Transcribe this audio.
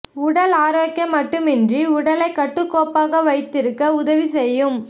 உடல் ஆரோக்கியம் மட்டுமின்றி உடலை கட்டுக்கோப்பாக வைத்திருக்க உதவி செய்யும்